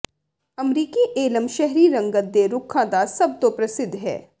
ਅਮਰੀਕੀ ਏਲਮ ਸ਼ਹਿਰੀ ਰੰਗਤ ਦੇ ਰੁੱਖਾਂ ਦਾ ਸਭ ਤੋਂ ਪ੍ਰਸਿੱਧ ਹੈ